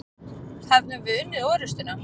Hefðum við unnið orustuna?